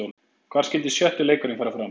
Hvar skyldi sjötti leikurinn fara fram?